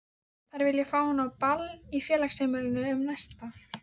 Þær vilja fá hann á ball í Félagsheimilinu um næstu